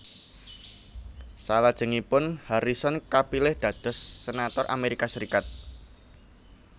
Salajengipun Harrison kapilih dados senator Amerika Serikat